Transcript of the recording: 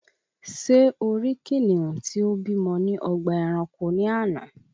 Ṣé o rí kìnìún tí ó bímọ ní ọgbà ẹranko ní àná?